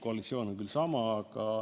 Koalitsioon pole sama.